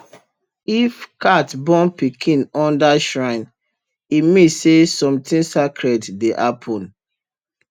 if cat born pikin under shrine e mean say something sacred dey happen